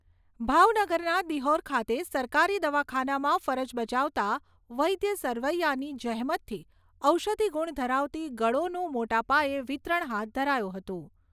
ભાવનગરના દિહોર ખાતે સરકારી દવાખાનામાં ફરજ બજાવતા વૈદ્ય સરવૈયાની જહેમતથી ઔષધિ ગુણ ધરાવતી ગોળીઓનું મોટાપાયે વિતરણ હાથ ધરાયું હતું.